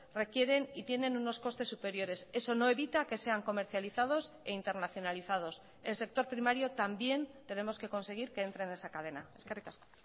requieren y tienen unos costes superiores eso no evita que sean comercializados e internacionalizados el sector primario también tenemos que conseguir que entre en esa cadena eskerrik asko